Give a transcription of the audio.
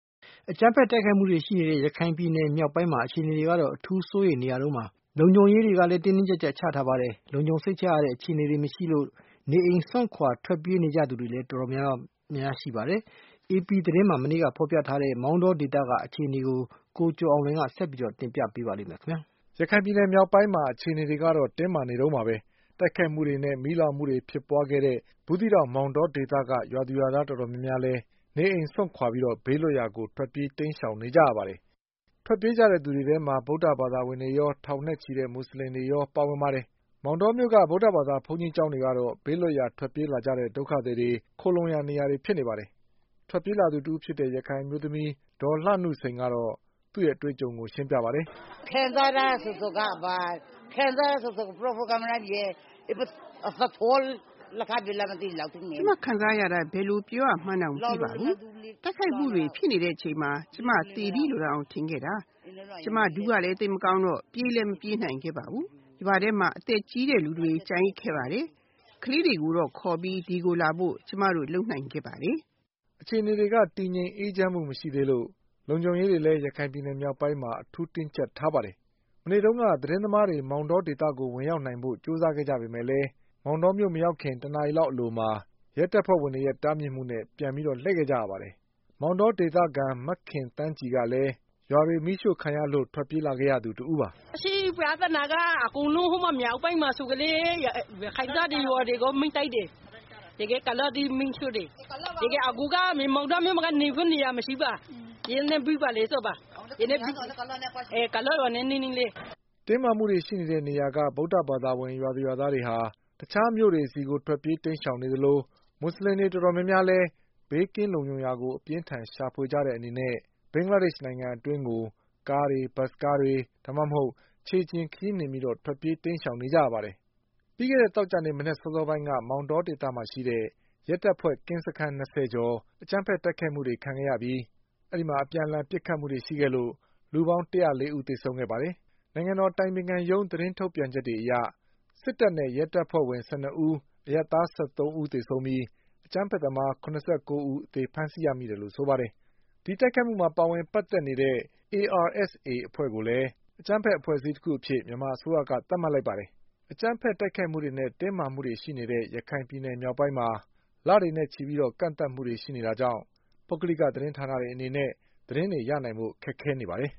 အကြမ်းဖက်တိုက်ခိုက်မှုတွေရှိနေတဲ့ ရခိုင်ပြည်နယ်မြောက်ပိုင်းမှာ အခြေအနေတွေက အထူးစိုးရိမ်နေရတုန်းပါ။ လုံခြုံရေးတွေလည်း တင်းတင်းကျပ်ကျပ်ချထားပါတယ်။ လုံခြုံစိတ်ချရတဲ့အခြေအနေတွေမရှိလို့ နေအိမ်စွန့်ခွါထွက်ပြေး နေသူတွေလည်း တော်တော်များနေပါတယ်။ AP သတင်းမှာမနေ့ကဖေါ်ပြထားတဲ့ မောင်တောဒေသကအခြေအနေ တွေကို ကိုကျော်အောင်လွင်က ဆက်ပြီးပြောပြပါလိမ့်မယ်။ ရခိုင်ပြည်နယ်မြောက်ပိုင်းရဲ့အခြေအနေတွေက တင်းမာနေတုန်းပါပဲ။ တိုက်ခိုက်မှုတွေနဲ့ မီးလောင်မှုတွေဖြစ်ပွါးခဲ့တဲ့ဘူး သီးတောင်မောင်တောဒေသက ရွာသူရွာသားတွေ တော်တော်များများလည်း နေအိမ်စွန့်ခွါပြီးဘေးလွတ်ရာကိုထွက်ပြေး တိမ်းရှောင်နေကြရပါတယ်။ ထွက်ပြေးကြတဲ့သူတွေထဲမှာ ဗုဒ္ဓဘာသာဝင်တွေရော ထောင်နဲ့ချီတဲ့မူဆလင်တွေရောပါဝင် ပါတယ်။ မောင်တောမြို့ ဗုဒ္ဓဘာသာဘုန်းကြီးကျောင်းတွေကတော့ ဘေးလွတ်ရာ ထွက်ပြေးလာတဲ့ ဒုက္ခသည်တွေခိုလှုံရာ နေရာတွေဖြစ်နေပါတယ်။ ထွက်ပြေးလာသူတဦးဖြစ်တဲ့ ရခိုင်အမျိုးသမီး ဒေါ်လှနုစိန်ကတော့သူ့အတွေ့အကြုံကိုရှင်းပြပါ တယ်။ “ကျမခံစားရတာကို ဘယ်လိုပြောပြရမှန်းတောင်မသိပါဘူး။ တိုက်ခိုက်မှုတွေဖြစ်နေတဲ့အချိန်မှာ ကျမသေပြီလို့တောင် ထင်ခဲ့တာ။ ကျမ ဒူးကလည်း သိပ်မကောင်းတော့ ပြေးလည်းမပြေးနိုင်ပါဘူး။ ရွာထဲမှာ အသက်ကြီးတဲ့လူတွေကျန်ခဲ့ကြ တယ်။ ကလေးတွေကိုခေါ်ပြီး ဒီကိုလာဖို့ပဲ ကျမတို့လုပ်နိုင်ပါတယ်” အခြေအနေတွေက တည်ငြိမ်အေးချမ်းမှုမရှိသေးလို့ လုံခြုံရေးတွေလည်း ရခိုင်ပြည်နယ်မြောက်ပိုင်းမှာ အထူးတင်းကျပ် ထားပါတယ်။ မနေ့တုန်းက သတင်းသမားတွေ မောင်တောဒေသကို ဝင်ရောက်နိုင်ဖို့ကြိုးစားကြပေမဲ့လည်း မောင်တော မြို့ မရောက်ခင် တနာရီလောက်အလိုမှာ ရဲတွေရဲ့ တားမြစ်မှုနဲ့ပြန်ပြီးလှည့်ခဲ့ရပါတယ်။ မောင်တောဒေသခံ မခင်သန်း ကြည်ကလည်း ရွာတွေမီးရှို့ခံရလို့ထွက်ပြေးလာရသူတဦးပါ။ “အခုပြဿနာက မြောက်ပိုင်းမှာဆိုရင်လည်းရခိုင်ရွာတွေလည်းမီးရှို့တယ်။ အခုကမောင်တောမြို့မှာက နေဖို့နေရာမရှိဘူး ကုလားရွာနဲ့နီးနီးလေး။” တင်းမာမှုတွေရှိတဲ့နေရာက ဗုဒ္ဓဘာသာဝင် ရွာသူရွာသားတွေက တခြားမြို့တွေဆီကို ထွက်ပြေးတိမ်းရှောင်နေကြသလို မူဆလင်တွေတော်တော်များများလည်း ဘေးကင်းလုံခြုံရာကို အပြင်းအထန်ရှာဖွေကြတဲ့အနေနဲ့ဘင်္ဂလားဒေ့ချ်နိုင်ငံအတွင်းကိုကားတွေ၊ ဘတ်စ်ကားတွေ ဒါမှမဟုတ် ခြေလျှင်ခရီးနှင်ပြီးထွက်ပြေးတိမ်းရှောင်နေကြပါတယ်။ ပြီးခဲ့တဲ့သောကြာနေ့မနက်စောစောပိုင်းက မောင် တောဒေသမှာရှိတဲ့ ရဲတပ်ဖွဲ ကင်းစခန်း၂၀ကျော်ကို အကြမ်းဘက်တိုက်ခိုက်မှုတွေလုပ်ခဲ့ကြပြီး လူပေါင်း ၁၀၄ဦးသေ ဆုံးခဲ့ပါတယ်။ နိုင်ငံတော်အတိုင်ပင်ခံရုံးသတင်းထုတ်ပြန်ချက်တွေအရ စစ်တပ်နဲ့ရဲတပ်ဖွဲ့ဝင် ၁၂ဦး၊ အရပ်သား၁၃ဦး သေဆုံးပြီး အကြမ်းဘက်သမား၇၉ဦးအသေဖမ်းဆီးရမိတယ်လို့ဆိုပါတယ်။ ဒီတိုက်ခိုက်မှုမှာ ပါဝင်ပတ်သက်နေတဲ့ ARSAအဖွဲ့ကိုလည်း အကြမ်းဘက်အဖွဲ့အစည်းတခုအဖြစ် မြန်မာအစိုးရက သတ်မှတ်လိုက်ပါတယ်။ တင်းမာမှုတွေရှိ နေတဲ့ ရခိုင်ပြည်နယ်မြောက်ပိုင်းမှာ လတွေနဲ့ချီပြီး ကန့်သတ်မှုတွေရှိနေတာကြောင့် ပုဂ္ဂလိကသတင်းဌာနတွေ အနေနဲ့ သတင်းတွေရနိုင်ဖို့ ခက်ခဲနေပါတယ်